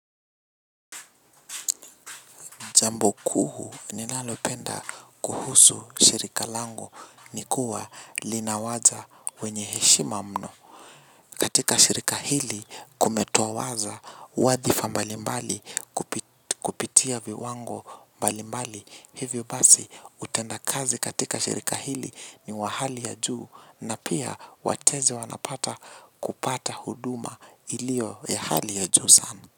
Jambo kuu ninalopenda kuhusu shirika langu ni kuwa linawaza wenye heshima mno. Katika shirika hili kumetowaza wadhifa mbali mbali kupitia viwango mbali mbali. Hivyo basi utenda kazi katika shirika hili ni wa hali ya juu na pia watezi wanapata kupata huduma ilio ya hali ya juu sana.